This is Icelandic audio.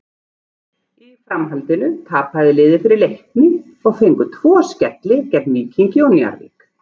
Í framhaldinu tapaði liðið fyrir Leikni og fengu tvo skelli gegn Víkingi og Njarðvík.